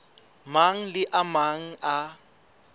mang le a mang a